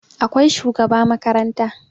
akwai shugaba makaranta